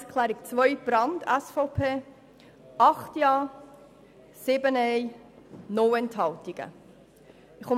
Über die Planungserklärung Brand/SVP wurde mit 8 Ja- zu 7 Nein-Stimmen und 0 Enthaltungen abgestimmt.